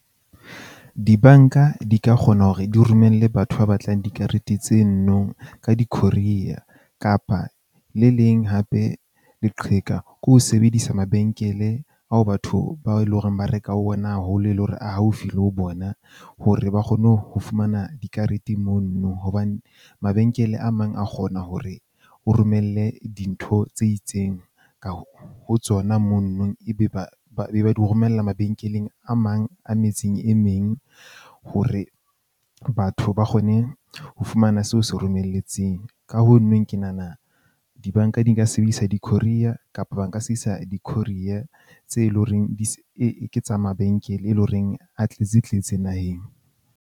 Di-bank-a di ka kgona hore di romelle batho ba batlang dikarete tse no nong ka di-courier-ya kapa le leng hape, leqheka ke ho sebedisa mabenkele ao batho bao e leng hore ba reka ho ona haholo e le hore a haufi le ho bona hore ba kgone ho fumana dikarete mono. Hobane mabenkele a mang a kgona hore o romelle dintho tse itseng ka ho tsona, mono nong e be ba ba be ba di romella mabenkeleng a mang a metseng e meng hore, batho ba kgone ho fumana seo o se romelletseng. Ka ho nweng ke nahana di-bank-a di nka sebedisa di-courier-ya kapa ba nka sebedisa di-courier tse loreng di ke tsa mabenkele, e leng horeng a tletse tletse naheng.